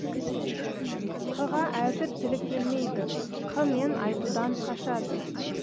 қ ға әзір тілі келмейді қ мен айтудан қашады